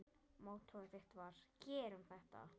Mottóið þitt var: Gerum þetta!